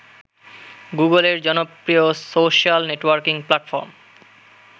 গুগলের জনপ্রিয় social networking platform